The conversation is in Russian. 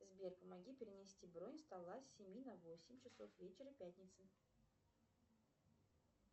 сбер помоги перенести бронь стола с семи на восемь часов вечера пятницы